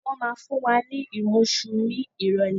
Wọn máa fún wa ní imusu ni irọ̀lẹ́